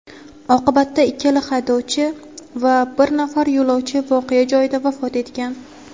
Oqibatda ikkala haydovchi va bir nafar yo‘lovchi voqea joyida vafot etgan.